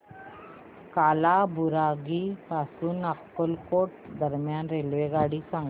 कालाबुरागी पासून अक्कलकोट दरम्यान रेल्वेगाडी सांगा